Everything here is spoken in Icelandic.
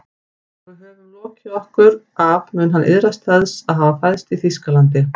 Þegar við höfum lokið okkur af mun hann iðrast þess að hafa fæðst í Þýskalandi